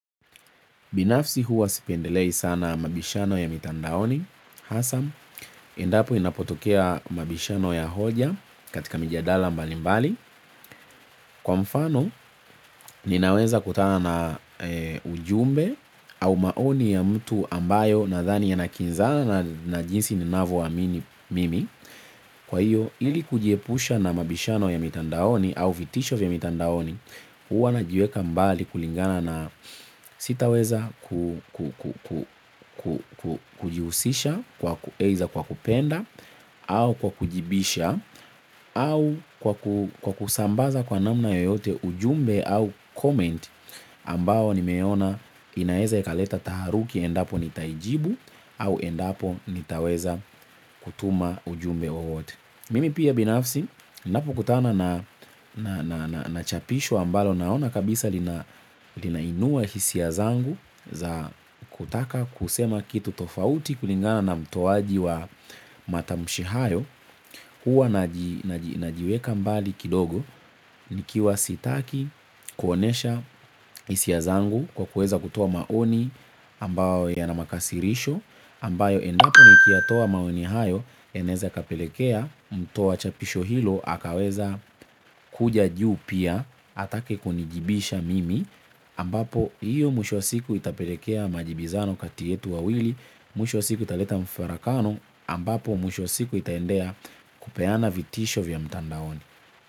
Binafsi huwa sipendelei sana mabishano ya mitandaoni, hasa, endapo inapotokea mabishano ya hoja katika mijadala mbali mbali. Kwa mfano, ninaweza kutana na ujumbe au maoni ya mtu ambayo nadhani yanakinzana na jinsi ninavyoamini. Kwa hiyo ili kujiepusha na mabishano ya mitandaoni au vitisho vya mitandaoni huwa najiweka mbali kulingana na sitaweza kujihusisha kwa kueza kwa kupenda au kwa kujibisha au kwa kusambaza kwa namna yoyote ujumbe au comment ambao nimeona inaeza ikaleta taharuki endapo nitaijibu au endapo nitaweza kutuma ujumbe wowote mimi pia binafsi nniapokutana na chapisho ambalo naona kabisa linainua hisia zangu za kutaka kusema kitu tofauti kulingana na mtoaji wa matamshi hayo huwa najiweka mbali kidogo nikiwa sitaki kuonyesha hisia zangu kwa kueza kutoa maoni ambao yana makasirisho ambayo endapo nikiyatoa maoni hayo inaeza ikapelekea mtoa chapisho hilo akaweza kuja juu pia atake kunijibisha mimi ambapo hiyo mwisho wa siku itapelekea majibizano kati yetu wawili mwisho siku italeta mfarakano ambapo mwisho siku itaendea kupeana vitisho vya mtandaoni.